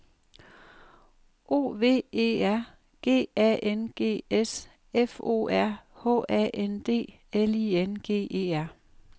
O V E R G A N G S F O R H A N D L I N G E R